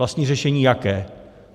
Vlastní řešení jaké?